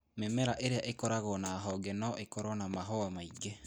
Mĩmera ĩrĩa ĩkoragwo na honge no ĩkorũo na mahũa maingĩ.